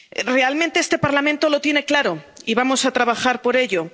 Realmente este Parlamento lo tiene claro y vamos a trabajar por ello.